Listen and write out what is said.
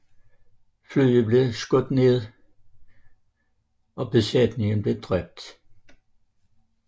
Flyet blev skudt ned og besætningen blev dræbt